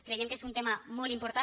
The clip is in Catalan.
creiem que és un tema molt important